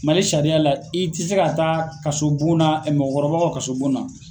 Mali sariya la i tɛ se ka taa kaso bonna mɔgɔkɔrɔbaw ka kaso bonna.